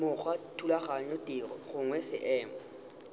mokgwa thulaganyo tiro gongwe seemo